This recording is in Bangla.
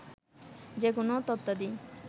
যেকোন তথ্যাদি